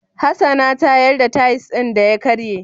Hassana ta yar da tayis din da ya ƙarye